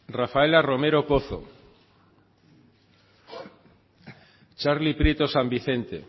sartu da rafaela romero pozo sartu da txarli prieto san vicente